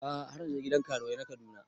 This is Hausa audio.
A'a har na je gidan karuwai na Kaduna